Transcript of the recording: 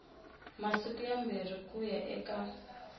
masiku mambirhi ku ya eka